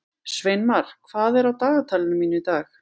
Sveinmar, hvað er á dagatalinu mínu í dag?